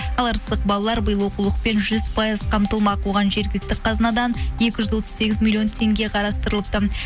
ал арыстық балалар биыл оқулықпен жүз пайыз қамтылмақ оған жергілікті қазынадан екі жүз отыз сегіз миллион теңге қарастырылыпты